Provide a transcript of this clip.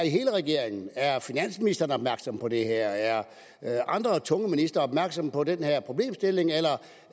i hele regeringen er er finansministeren opmærksom på det her er andre tunge ministre opmærksomme på den her problemstilling eller